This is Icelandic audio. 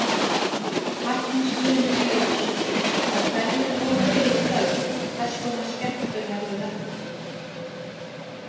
Magnús Hlynur Hreiðarsson: Og hverju lofið þið í kvöld, hvers konar skemmtun verður þetta?